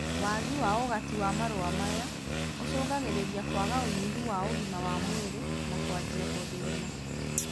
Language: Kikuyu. Waagi wa ũgati wa marũa maya, ũcũngagĩrĩria kwaga ũnyihu wa ũgima wa mwĩrĩ na kwanjia gũthĩna